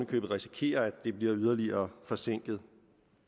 kan risikere at det bliver yderligere forsinket